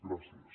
gràcies